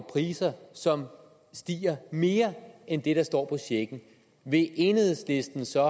priser som stiger mere end det der står på checken vil enhedslisten så